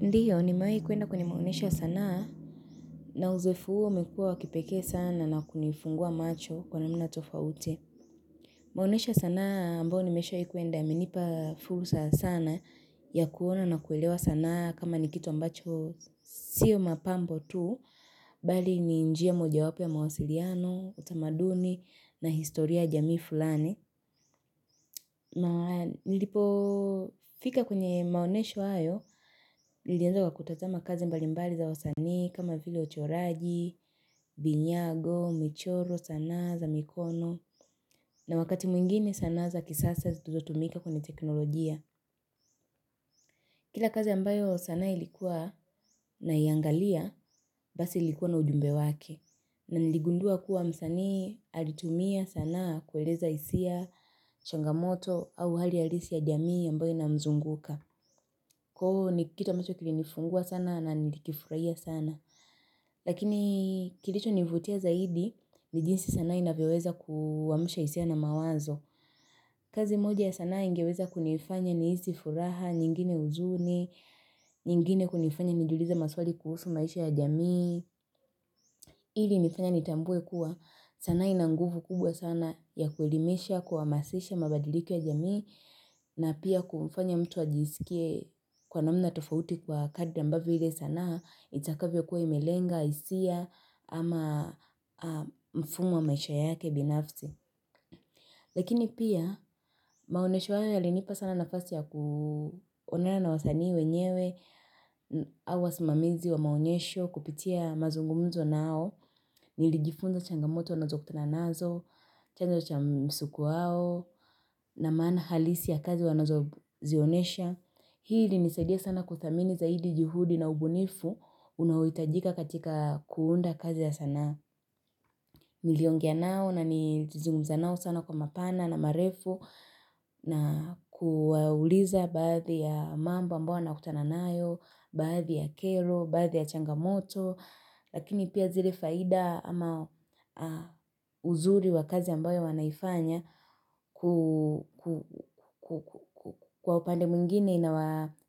Ndio nimewai kuenda kwenye maonesho ya sanaa na uzoefu huo umekua wakipekee sana na kunifungua macho kwa namna tofauti. Maonesho ya sanaa ambao nimeshai kwenda yamenipa fursa sana ya kuona na kuelewa sana kama ni kitu ambacho siyo mapambo tu. Bali ni njia moja wapo ya mawasiliano, utamaduni na historia ya jamii fulani. Na Nilipo fika kwenye maonesho hayo nilianza kwa kutazama kazi mbali mbali za wasanii kama vile uchoraji, vinyago, michoro, sanaa za mikono na wakati mwingine sanaa za kisasa zututumika kwenye teknolojia Kila kazi ambayo sanaa ilikuwa naiangalia Basi ilikuwa na ujumbe wake na niligundua kuwa msanii alitumia sanaa kueleza hisia changamoto au hali halisi ya jamii ambayo inamzunguka Kuhu ni kitu ambacho kili nifungua sana na nikifurahia sana Lakini kilicho nivutia zaidi ni jinsi sanaa inavyoweza kuamsha hisia na mawazo kazi moja ya sanaa ingeweza kunifanya nihisi furaha nyingine huzuni nyingine kunifanya nijiulize maswali kuhusu maisha ya jamii ili nifanya nitambue kuwa sanaa inanguvu kubwa sana ya kuelimesha kuamasisha mabadiliko ya jamii na pia kufanya mtu ajisikie kwa namna tofauti kwa kadri ambavyo ile sanaa, itakavyo kuwa imelenga, hisia, ama mfungwa maisha yake binafsi. Lakini pia, maonesho haya yalinipa sana nafasi ya kuonana na wasanii wenyewe au wasimamizi wa maonyesho kupitia mazungumzo nao. Nilijifunza changamoto nazo kutana nazo, chanzo cha msuku wao. Na maana halisi ya kazi wanazozionesha, hii ilinisaidia sana kuthamini zaidi juhudi na ubunifu unaohitajika katika kuunda kazi ya sanaa. Niliongea nao na nizungumza nao sana kwa mapana na marefu na kuwauliza baadhi ya mambo ambayo wanakutana nayo, baadhi ya kero, baadhi ya changamoto, Lakini pia zile faida ama uzuri wa kazi ambayo wanaifanya kwa upande mwingine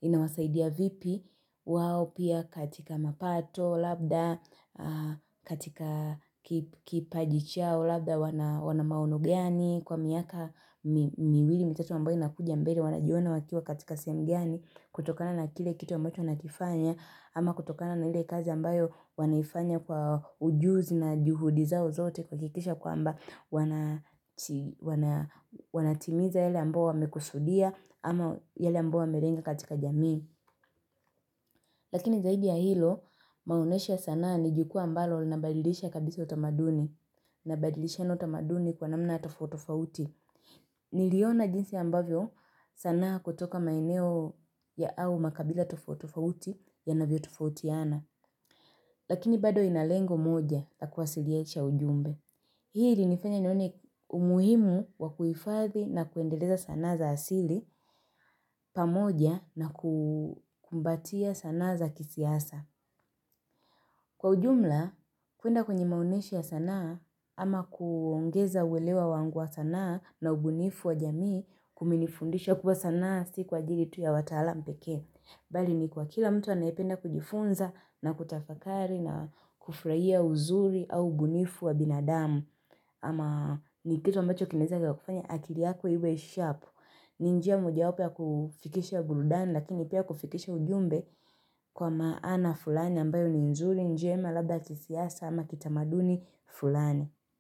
inawasaidia vipi wao pia katika mapato labda katika kipaji chao labda wana maono gani kwa miaka miwili mitatu ambayo inakuja mbele wanajiona wakiwa katika sehemu gani kutokana na kile kitu ambacho wanakifanya. Ama kutokana na hile kazi ambayo wanaifanya kwa ujuzi na juhudi zao zote kuhakikisha kwamba wanatimiza yale ambayo wamekusudia ama yale ambayo wamelenga katika jamii. Lakini zaidi ya hilo maoneshi ya sana ni jukwaa ambalo linabadilisha kabisa utamaduni. Nabadilishana utamaduni kwa namna tofauti tofauti. Niliona jinsi ambavyo sanaa kutoka maeneo ya au makabila tofauti tofauti yanavyo tofautiana. Lakini bado inalengo moja ya kuwasiliyesha ujumbe. Hii ili nifanya nione umuhimu wa kuifadhi na kuendeleza sanaa za asili pamoja na kumbatia sanaa za kisiasa. Kwa ujumla, kuenda kwenye maonesha ya sanaa ama kuongeza uelewa wangu wa sanaa na ubunifu wa jamii kumenifundisha kuwa sana si kwa ajili tu ya wataalam pekee. Bali ni kwa kila mtu anayependa kujifunza na kutafakari na kufraia uzuri au ubunifu wa binadamu ama ni kitu ambacho kinaeza ika kufanya akili yako iwe sharp ni njia mojawapo ya kufikisha burudani lakini pia kufikisha ujumbe Kwa maana fulani ambayo ni nzuri njema labda ya kisiasa ama kitamaduni fulani.